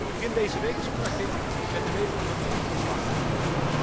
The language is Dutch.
Begin deze week sprak ik met de weduwe van een van de slachtoffers.